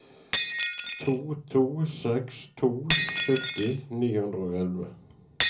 to to seks to sytti ni hundre og elleve